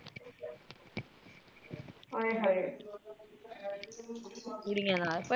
ਆਏ ਹਾਏ